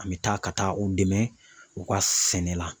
An bɛ taa ka taa u dɛmɛ u ka sɛnɛ la